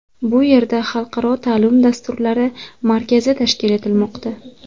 Bu yerda xalqaro ta’lim dasturlari markazi tashkil etilmoqda.